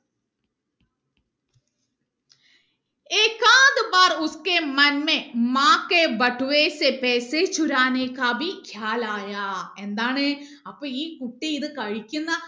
എന്താണ് അപ്പൊ ഈ കുട്ടി ഇത് കഴിക്കുന്ന